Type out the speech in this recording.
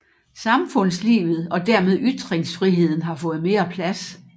Samfundslivet og dermed ytringsfriheden har fået mere plads